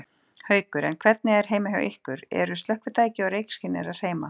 Haukur: En hvernig er heima hjá ykkur, eru slökkvitæki og reykskynjarar heima?